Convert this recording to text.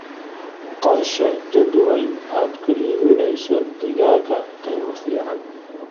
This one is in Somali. Qorshee jadwal aad ku iibinayso digaagga qiimo fiican.